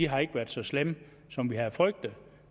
har ikke været så slemme som vi havde frygtet